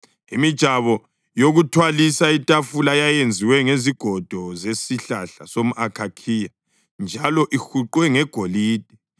Imijabo yokuthwalisa itafula yayenziwe ngezigodo zesihlahla somʼakhakhiya njalo ihuqwe ngegolide.